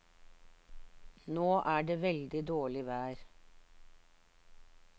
Nå er det veldig dårlig vær.